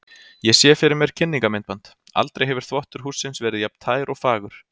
Ég sé fyrir mér kynningarmyndband: aldrei hefur þvottur hússins verið jafn tær og fagur.